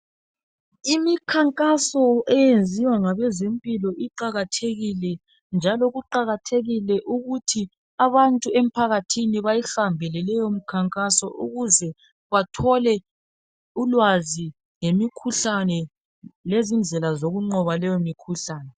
Imikhankaso eyenziwa ngabezempilo iqakathekile, njalo kuqakathekile ukuthi abantu emphakathini beyihambele leyo mkhankaso ukuze bathole ulwazi ngemikhuhlane lezindlela zokunqoba leyo mikhuhlane.